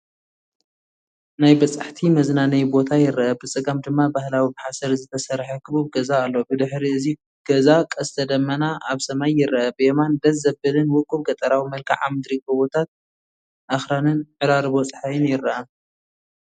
ናይ በጻሕቲ መዝናነዬ ቦታ ይርአ፣ ብጸጋም ድማ ባህላዊ ብሓሰር ዝተሰርሐ ክቡብ ገዛ ኣሎ። ብድሕሪ እቲ ገዛ ቀስተ ደመና ኣብ ሰማይ ይርአ። ብየማን፡ ደስ ዘብልን ውቁብ ገጠራዊ መልክዓ ምድሪ፡ ጎቦታት፡ ኣኽራንን ዕራርቦ ጸሓይን ይርአ።